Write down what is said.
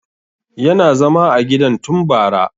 Yana zama a gidan tun bara